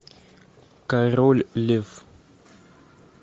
король лев